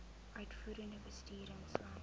uitvoerende bestuur insluit